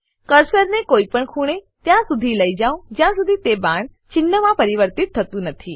કર્સરને કોઈપણ ખૂણે ત્યાં સુધી લઇ જાવ જ્યાં સુધી તે બાણ ચિન્હમાં પરિવર્તિત થતું નથી